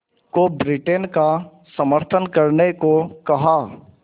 को ब्रिटेन का समर्थन करने को कहा